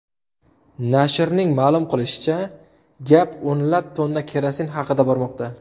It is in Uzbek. Nashrning ma’lum qilishicha, gap o‘nlab tonna kerosin haqida bormoqda.